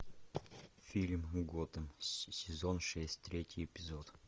фильм готэм сезон шесть третий эпизод